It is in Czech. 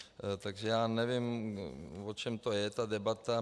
Takže já nevím, o čem to je, ta debata.